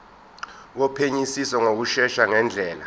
wophenyisiso ngokushesha ngendlela